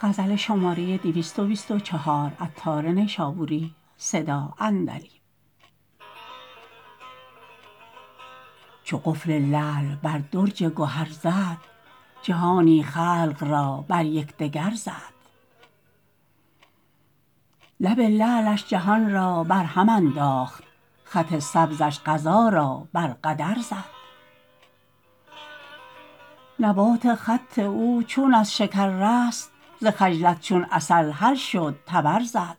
چو قفل لعل بر درج گهر زد جهانی خلق را بر یکدگر زد لب لعلش جهان را برهم انداخت خط سبزش قضا را بر قدر زد نبات خط او چون از شکر رست ز خجلت چون عسل حل شد طبرزد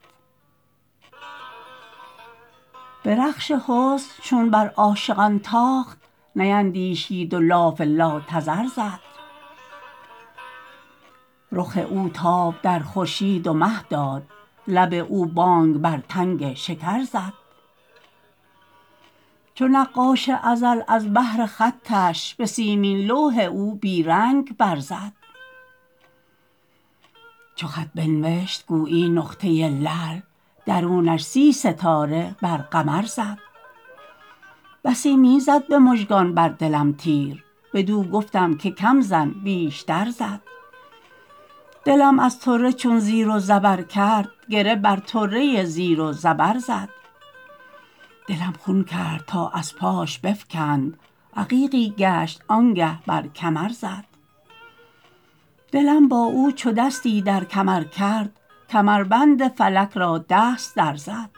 به رخش حسن چون بر عاشقان تاخت نیندیشید و لاف لاتذر زد رخ او تاب در خورشید و مه داد لب او بانگ بر تنگ شکر زد چو نقاش ازل از بهر خطش به سیمین لوح او بیرنگ برزد چو خط بنوشت گویی نقطه لعل درونش سی ستاره بر قمر زد بسی می زد به مژگان بر دلم تیر بدو گفتم که کم زن بیشتر زد دلم از طره چون زیر و زبر کرد گره بر طره زیر و زبر زد دلم خون کرد تا از پاش بفکند عقیقی گشت آنگه بر کمر زد دلم با او چو دستی در کمر کرد کمربند فلک را دست در زد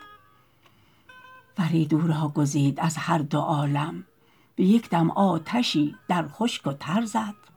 فرید او را گزید از هر دو عالم به یک دم آتشی در خشک و تر زد